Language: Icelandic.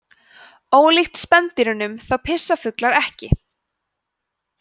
ólíkt spendýrum þá pissa fuglar ekki